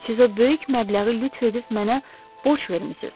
Siz o böyük məbləği lütf edib mənə borc vermisiniz.